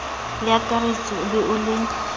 leakaretsi o be o le